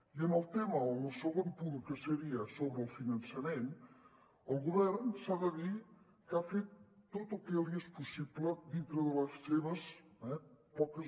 i en el tema o en el segon punt que seria sobre el finançament el govern s’ha de dir que ha fet tot el que li és possible dintre de les seves poques